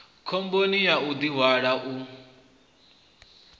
khomboni ya u ḓihwala u